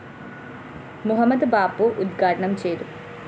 മുഹമ്മദ് ബാപ്പു ഉദ്ഘാടനം ചെയ്തു